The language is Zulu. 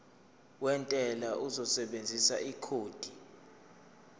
wentela uzosebenzisa ikhodi